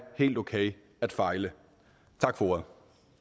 helt okay at fejle tak for ordet